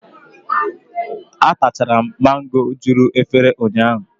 Atachara m mango juru efere ụnyaahụ.